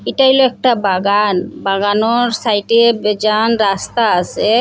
এটা হইলো একটা বাগান বাগানোর সাইটে বেজান রাস্তা আসে ।